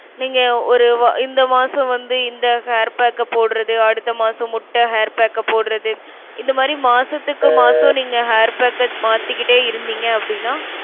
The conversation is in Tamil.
நீங்க ஒரு வா~ இந்த மாசம் வந்து இந்த hair pack அ போடறது அடுத்த மாசம் முட்டை hair pack அ போடறது இந்த மாதிரி மாசத்துக்கு மாசம் நீங்க hair pack அ மாத்திக்கிட்டே இருந்தீங்க அப்டினா